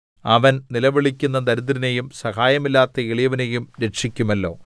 അവൻ നിലവിളിക്കുന്ന ദരിദ്രനെയും സഹായമില്ലാത്ത എളിയവനെയും രക്ഷിക്കുമല്ലോ